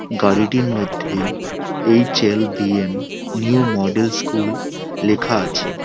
গাড়িটির মধ্যেই H L B M new model school লেখা আছে।